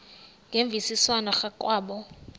ngemvisiswano r kwabo